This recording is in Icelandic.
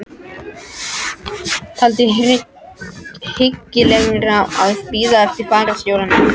Taldi hyggilegra að bíða eftir fararstjóranum.